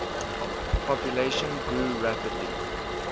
population grew rapidly